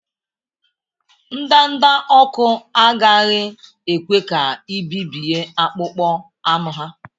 Ndanda ọkụ agaghị ekwe ka i bibie akpụkpọ anụ ha.